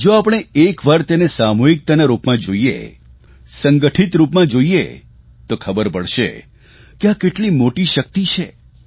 જો આપણે એક વાર તેને સામૂહિકતાના રૂપમાં જોઇએ સંગઠિત રૂપમાં જોઇએ તો ખબર પડશે કે આ કેટલી મોટી શક્તિ છે